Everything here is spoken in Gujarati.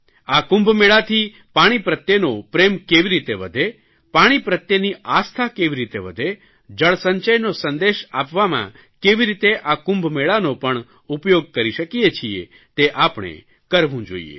આ કુંભમેળાથી પાણી પ્રત્યેનો પ્રેમ કેવી રીતે વધે પાણી પ્રત્યેની આસ્થા કેવી રીતે વધે જળસંચયનો સંદેશ આપવામાં કેવી રીતે આ કુંભમેળાનો પણ ઉપયોગ કરી શકીએ છીએ તે આપણે કરવું જોઇએ